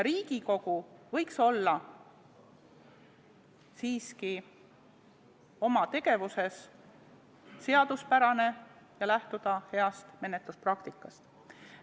Riigikogu võiks olla siiski oma tegevuses seaduspärane ja lähtuda heast menetluspraktikast.